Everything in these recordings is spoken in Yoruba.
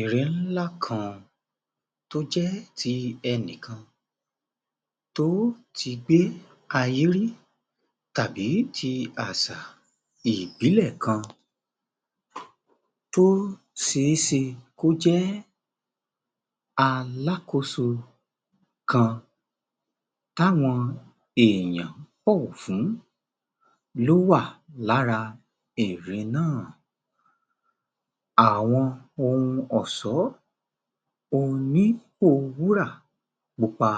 Ère ńlá kan tó jẹ́ ti ẹnì kan tó ti gbé ayé rí tàbí ti àṣà ìbílẹ̀ kan tó ṣeéṣe kó jẹ́ alákóso kan táwọn èèyàn n bọ̀wọ̀ fún ló wà lára ère náà. Àwọn ohun ọ̀ṣọ́, ohun lílò wúrà pupa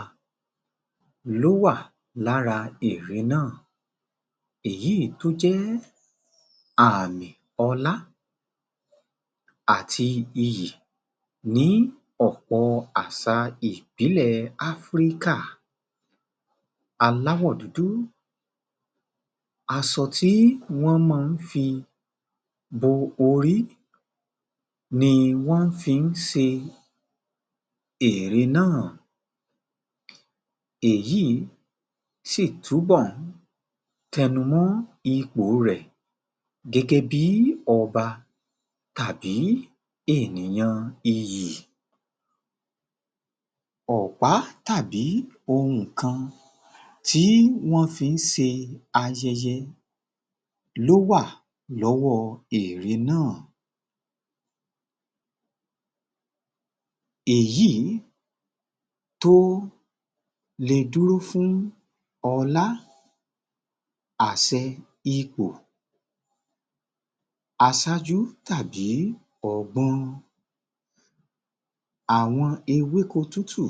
ló wà lára ère náà, èyí tó jẹ́ àmì ọlá àti iyì ní ọ̀pọ̀ àṣà ìbílẹ̀ Áfíríkà, aláwò dúdú. Aṣọ tí wọ́n máa fi bo orí ni wọ́n fi ń ṣe ère náà. Èyí sì túbọ̀ tẹnu mọ́ ipò rẹ̀ gẹ́gẹ́ bí ọba tàbí ènìyàn iyì.Ọ̀pá tàbí ohun kan tí wọ́n fi ń ṣe ayẹyẹ ló wà lọ́wọ́ ère náà. Èyí tó lè dúró fún ọlá, àṣẹ, ipò aṣáájú tàbí ọgbọ́n. Àwọn ewéko tútù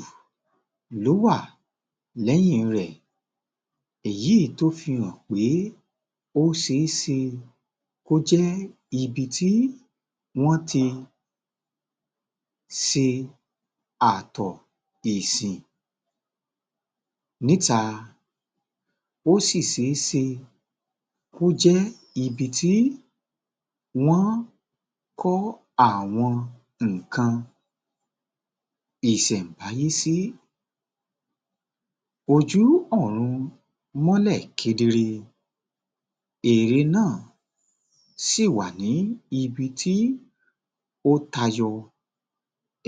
ló wà lẹ́yìn rẹ̀. Èyí tó fi hàn pé ó ṣe é ṣe kó jẹ́ ibi tí wọ́n ti ṣe àtọ̀ ìsìn níta, ó sì ṣe é ṣe kó jẹ́ ibi tí wọ́n kọ́ àwọn nǹkan ìṣèǹbáyé sí. Ojú ọ̀run mọ́lẹ̀ kedere, ère náà sì wà ni ibi tí ó tayọ,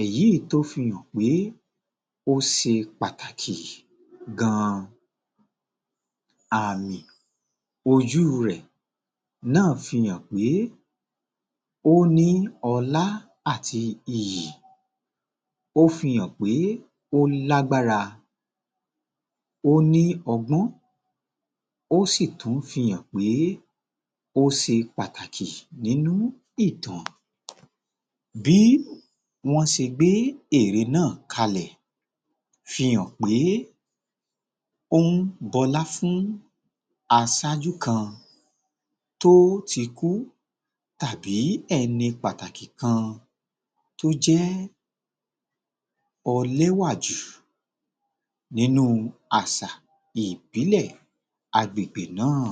èyí tó fi hàn pé ó ṣe pàtàkì gan-an. Àmì ojú rẹ̀ náà fi hàn pé ó ní ọlà àti iyì, ó fi hàn pé ó lágbára, ó ní ọgbọ́n, ó sì tún fi hàn pé ó ṣe pàtàkì nínú ìtàn. Bí wọ́n ṣe gbé ère náà kalẹ̀ fi hàn pé ó ń bọlá fún aṣaájú kan tó ti kú tàbí ẹni pàtàkì kan tó jẹ́ ẹlẹ́wà jù nínú àṣà ìbílẹ̀ agbègbè náà